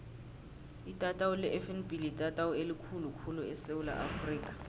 itatawu lefnb litatawu elikhulu khulu esewula afrika